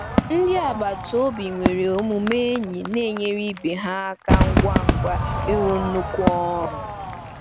Ndị agbata obi nwere omume enyi na-enyere ibe ha aka ngwa ngwa ịrụ nnukwu ọrụ.